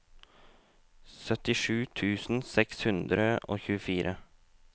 syttisju tusen seks hundre og tjuefire